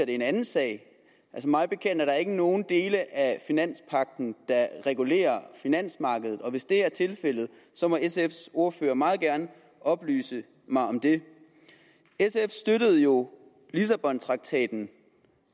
er en anden sag mig bekendt er der ikke nogen dele af finanspagten der regulerer finansmarkedet hvis det er tilfældet må sfs ordfører meget gerne oplyse mig om det sf støttede jo lissabontraktaten